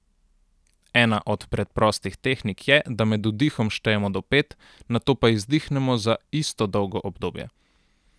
Ena od preprostih tehnik je, da med vdihom štejemo do pet, nato pa izdihnemo za isto dolgo obdobje.